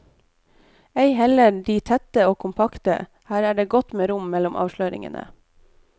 Ei heller er de tette og kompakte, her er det godt med rom mellom avsløringene.